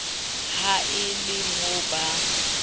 ha e le mo ba